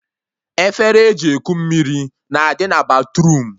Efere eji eku mmiri na-adị na batruum